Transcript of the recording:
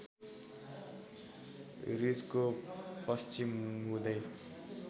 रिजको पश्चिम हुँदै